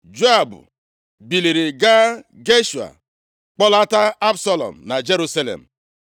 Joab biliri gaa Geshua, kpọlata Absalọm na Jerusalem.